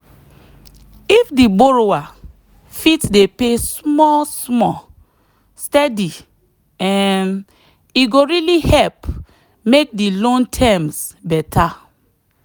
if the borrower fit dey pay small-small steady um e go really help make the loan terms better.